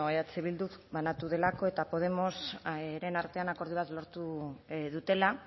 eh bilduk banatu delako eta podemosen artean akordio bat lortu dutela